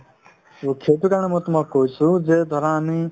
to সেইটো কাৰণে মই তোমাক কৈছো যে ধৰা আমি